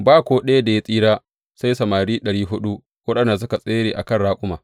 Ba ko ɗaya da ya tsira sai samari ɗari huɗu waɗanda suka tsere a kan raƙuma.